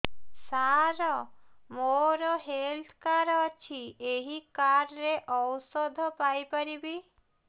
ସାର ମୋର health card ଅଛି ଏହି କାର୍ଡ ରେ ଔଷଧ ପାଇପାରିବି